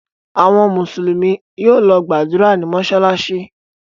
Àwọn Mùsùlùmí yóò lọ gbàdúrà ní mọ́ṣáláṣí.